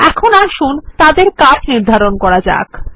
এখন আসুন তাদের কাজ নির্ধারণ করা যাক